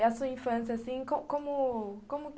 E a sua infância, assim, como como.... como...